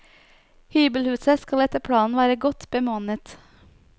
Hybelhuset skal etter planen være godt bemannet.